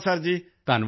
ਧੰਨਵਾਦ ਭਾਈ